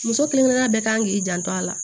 Muso kelen kelen bɛɛ kan k'i janto a la